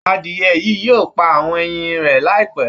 Adìẹ yìí yóò pa àwọn ẹyin rẹ̀ láìpẹ́